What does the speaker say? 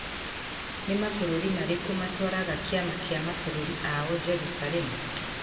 Nĩ mabũrũri marĩkũ matwaraga kĩama kĩa mabũrũri ao Jerusalemu?